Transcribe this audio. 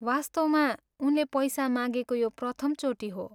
वास्तवमा, उनले पैसा मागेको यो प्रथमचोटि हो।